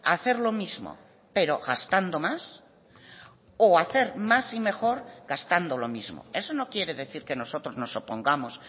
hacer lo mismo pero gastando más o hacer más y mejor gastando lo mismo eso no quiere decir que nosotros nos opongamos